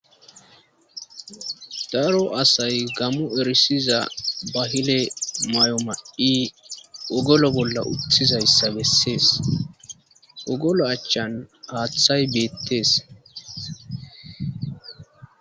daro asay gamo erisiza bahile may7o ma7i ogolo bolla uttizayssa bessees ogolo achchan haaththay beettees